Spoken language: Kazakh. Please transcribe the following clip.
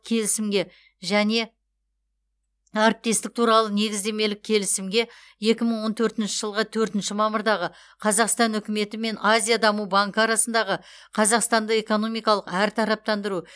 келісімге және әріптестік туралы негіздемелік келісімге екі мың он төртінші жылғы төртінші мамырдағы қазақстан үкіметі мен азия даму банкі арасындағы қазақстанды экономикалық әртараптандыру